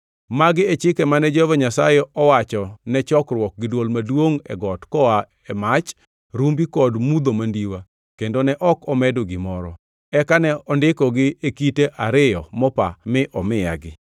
Magi e chike mane Jehova Nyasaye owachone chokruok gi dwol maduongʼ e got koa e mach, rumbi kod mudho mandiwa kendo ne ok omedo gimoro. Eka ne ondikogi e kite ariyo mopa mi omiyagi.